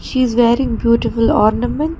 She is wearing beautiful ornaments.